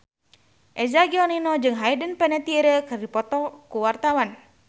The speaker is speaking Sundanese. Eza Gionino jeung Hayden Panettiere keur dipoto ku wartawan